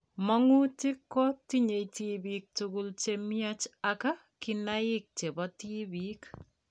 Mang'utik ko, tinye tibik kotugul chemiach ak kinaik chebo tibik